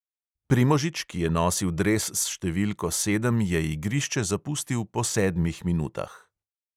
Primožič, ki je nosil dres s številko sedem, je igrišče zapustil po sedmih minutah.